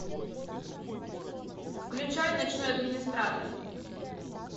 включай ночной администратор